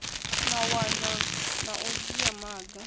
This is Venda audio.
mawanwa na u dzhia maga